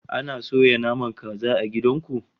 Ana soya naman kaza a gidan mu